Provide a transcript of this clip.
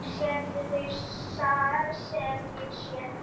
Sérðu það sem ég sé?